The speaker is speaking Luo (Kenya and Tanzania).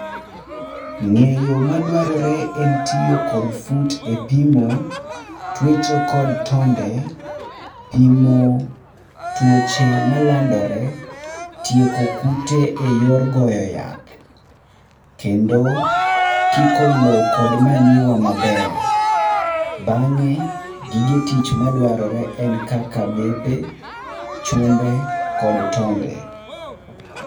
Ng'eyo ma dwarore en tiyo kod fut e pimo, twecho kod tonde, pimo tuoche malandore, tieko kute eyor goyo yath, kendo kiko lowo kod manyiwa maber. Bang'e gige tich madwarore en kaka bepe, chumbe kod tonde.